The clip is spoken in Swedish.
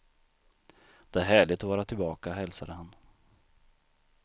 Det är härligt att vara tillbaka, hälsade han.